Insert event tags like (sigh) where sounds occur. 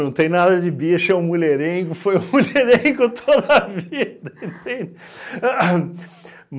Não tem nada de bicho, é um mulherengo, (laughs) foi um mulherengo toda a vida, entende? A ham